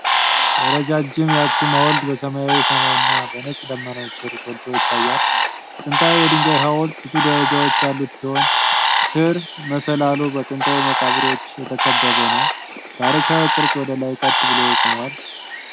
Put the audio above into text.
ረጃጅሙ የአክሱም ሐውልት በሰማያዊ ሰማይ እና በነጭ ደመናዎች ስር ጎልቶ ይታያል። ጥንታዊው የድንጋይ ሀውልት ብዙ ደረጃዎች ያሉት ሲሆን፣ ስር መሰላሉ በጥንታዊ መቃብሮች የተከበበ ነው። ታሪካዊው ቅርፅ ወደ ላይ ቀጥ ብሎ ቆሟል።